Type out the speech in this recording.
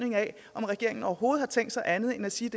om regeringen overhovedet har tænkt sig andet end at sige